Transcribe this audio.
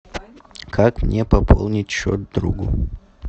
как мне пополнить счет другу